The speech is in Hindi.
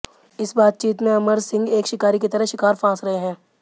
इस बातचीत में अमर सिंह एक शिकारी की तरह शिकार फांस रहे हैं